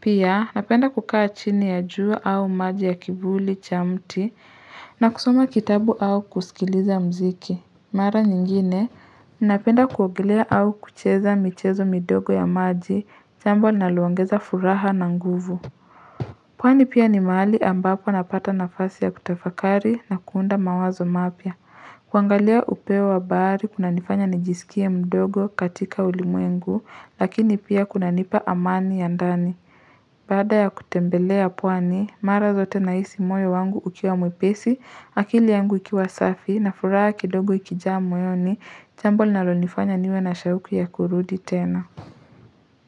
Pia napenda kukaa chini ya jua au maji ya kivuli cha mti na kusoma kitabu au kusikiliza mziki. Mara nyingine napenda kuogelea au kucheza michezo midogo ya maji jambo linaloongeza furaha na nguvu. Pwani pia ni mahali ambapo napata nafasi ya kutafakari na kuunda mawazo mapya. Kuangalia upeo wa bahari, kuna nifanya nijisikie mdogo katika ulimwengu, lakini pia kuna nipa amani ya ndani. Bada ya kutembelea pwani, mara zote nahisi moyo wangu ukiwa mwepesi, akili yangu ikiwa safi, na furaha kidogo ikijaa moyoni, jambo linalonifanya niwe na shauku ya kurudi tena.